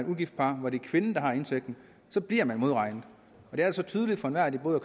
ugift par hvor det er kvinden der har indtægten så bliver man modregnet det er altså tydeligt for enhver at det både